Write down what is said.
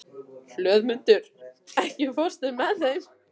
Hlöðmundur, ekki fórstu með þeim?